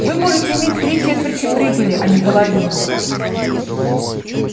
вы можете иметь три четверти прибыли а не половину